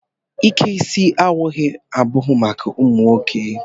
Ike isi owu abụghị maka ụmụ nwoke.